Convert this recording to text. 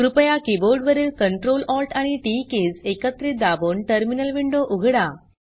कृपया कीबोर्ड वरील Ctrl Alt आणि टीटी कीज एकत्रित दाबून टर्मिनल विंडो उघडा